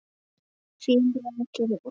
Þín Rakel Ósk.